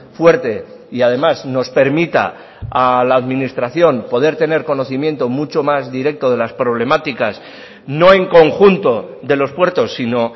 fuerte y además nos permita a la administración poder tener conocimiento mucho más directo de las problemáticas no en conjunto de los puertos sino